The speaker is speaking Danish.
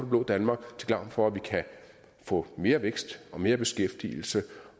blå danmark til gavn for at vi kan få mere vækst og mere beskæftigelse